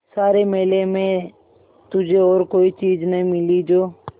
सारे मेले में तुझे और कोई चीज़ न मिली जो